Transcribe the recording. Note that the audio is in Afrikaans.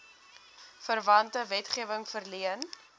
verwante wetgewing verleen